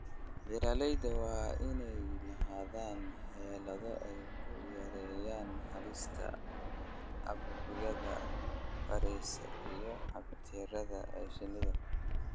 Beeralayda waa inay lahaadaan xeelado ay ku yareeyaan halista caabuqyada fayras iyo bakteeriyada ee shinnida.